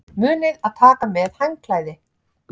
Munið að taka með handklæði!